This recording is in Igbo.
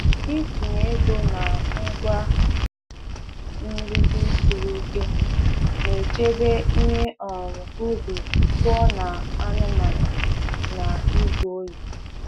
Itinye ego na ngwa mgbidi siri ike na-echebe ihe um ubi pụọ na anụmanụ na izu ohi.